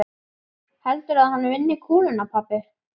Heldurðu að hann vinni kúluna pabbi?